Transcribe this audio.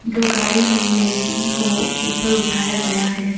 दो गाड़ी भी है जिनको ऊपर उठाया गया है।